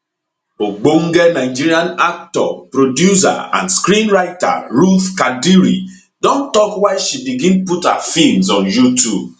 ogbonge nigerian actor producer and screenwriter ruth kadiri don tok why she begin put her feems on youtube